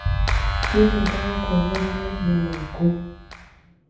Jesũ ndagakũohera mehia maku